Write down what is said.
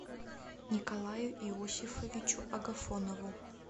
николаю иосифовичу агафонову